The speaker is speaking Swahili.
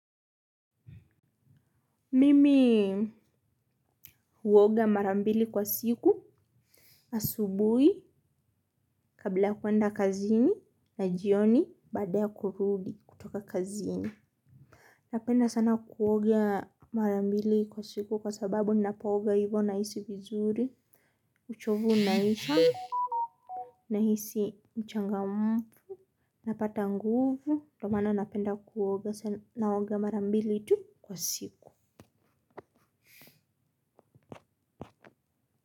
Mimii huoga mara mbili kwa siku asubui kabla kwenda kazini na jioni baada ya kurudi kutoka kazini. Napenda sana kuoga mara mbili kwa siku kwa sababu ninapoga hivyo nahisi vizuri uchovu unaisha nahisi mchangamfu. Napata nguvu ndio maana napenda kuoga sana naoga mara mbili tu kwa siku.